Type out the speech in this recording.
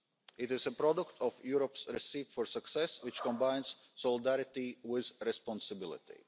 It is a product of Europe's recipe for success, which combines solidarity with responsibility.